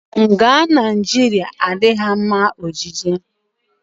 Nga Naijiria adịghị mma ọjije.